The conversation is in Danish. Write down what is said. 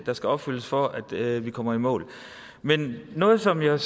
der skal opfyldes for at vi kommer i mål men noget som jeg